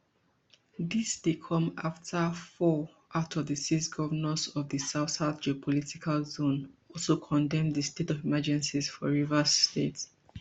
dis dey come afta four out of di six govnors of di southsouth geopolitical zone also condemn di state of emergency for rivers state